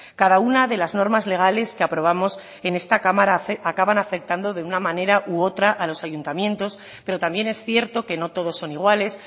cada una de las normas legales que aprobamos en esta cámara acaban afectando de una manera u otra a los ayuntamientos pero también es cierto que no todos son iguales